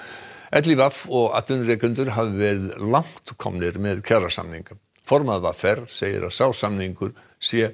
LÍV og atvinnurekendur hafi verið langt komnir með kjarasamning formaður v r segir að sá samningur sé